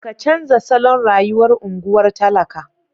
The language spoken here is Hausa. Ka canza salon rayuwar unguwar talaka.